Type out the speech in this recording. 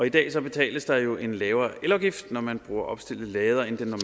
i dag betales der jo en lavere elafgift når man bruger opstillede ladere end den